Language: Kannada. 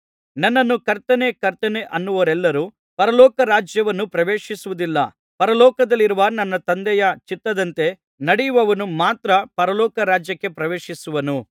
ನನ್ನನ್ನು ಕರ್ತನೇ ಕರ್ತನೇ ಅನ್ನುವವರೆಲ್ಲರು ಪರಲೋಕ ರಾಜ್ಯವನ್ನು ಪ್ರವೇಶಿಸುವುದಿಲ್ಲ ಪರಲೋಕದಲ್ಲಿರುವ ನನ್ನ ತಂದೆಯ ಚಿತ್ತದಂತೆ ನಡೆಯುವವನು ಮಾತ್ರ ಪರಲೋಕ ರಾಜ್ಯಕ್ಕೆ ಪ್ರವೇಶಿಸುವನು